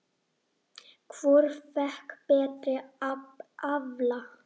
Hvort fékk betri afla?